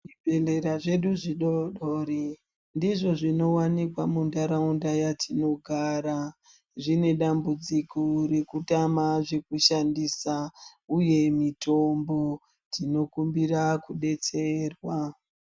Zvibhedhlera zvedu zvidoodori ndizvo zvinowanikwa mundaraunda yatinogara zvine dambudziko rekutama zvatinoshandisa uye mitombo tinokumbira kubetserwa.